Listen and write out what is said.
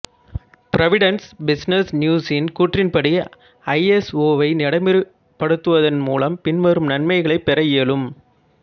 Providence business நியூஸின் கூற்றின்படி ஐஎஸ்ஓவை நடைமுறைப்படுத்துவதன் மூலம் பின்வரும் நன்மைகளைப் பெற இயலும்